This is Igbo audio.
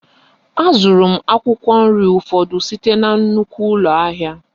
A zụrụ m akwụkwọ nri ụfọdụ site na nnukwu ụlọ ahịa